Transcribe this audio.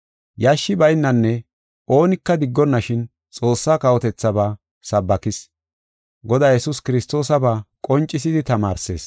Yashshi baynanne oonika diggonashin Xoossa kawotethaaba sabbakis; Godaa Yesuus Kiristoosaba qoncisidi tamaarsees.